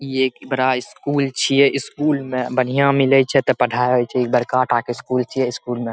इ एक बड़ा स्कूल छिए स्कूल में बढ़िया मिले छै त पढ़ाई छै बड़का त स्कूल छै स्कूल में --